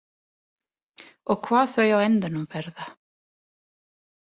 Og hvað þau á endanum verða.